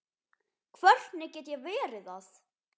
Hvernig get ég verið það?